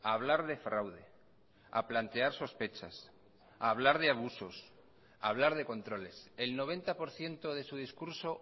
a hablar de fraude a plantear sospechas a hablar de abusos a hablar de controles el noventa por ciento de su discurso